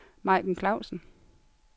Majken Clausen